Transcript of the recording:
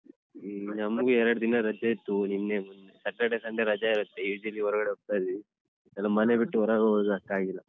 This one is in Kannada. ಹ್ಮ ನಮ್ಗೆ ಎರಡು ದಿನ ರಜೆ ಇತ್ತು ನಿನ್ನೆ Saturday Sunday ರಜಾ ಇರುತ್ತೆ usually ಹೋರ್ಗಡೆ ಹೋಗ್ತಾ ಇದ್ವಿ ಈ ಸಲ ಮನೆ ಬಿಟ್ಟು ಹೊರಗ್ಹೋಗುಕು ಆಗ್ತಾಇಲ್ಲ.